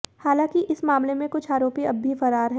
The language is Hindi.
हालांकी इस मामले में कुछ आरोपी अब भी फरार है